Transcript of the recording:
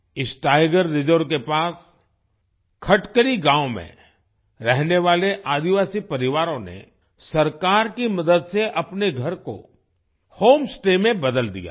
इस tiger reserve के पास खटकली गांव में रहने वाले आदिवासी परिवारों ने सरकार की मदद से अपने घर को होम स्टे में बदल दिया है